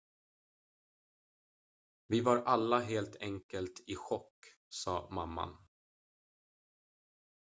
"""vi var alla helt enkelt i chock," sa mamman.